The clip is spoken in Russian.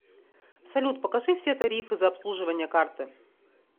салют покажи все тарифы за обслуживание карты